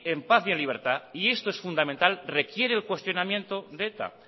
en paz y libertad y esto es fundamental requiere el cuestionamiento de eta